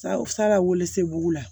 Salawe sebugu la